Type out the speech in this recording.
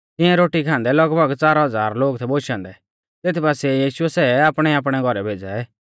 तिऐ रोटी खान्दै लगभग च़ार हज़ार लोग थै बोशौ औन्दै तेत बासिऐ यीशुऐ सै आपणैआपणै घौरै भेज़ै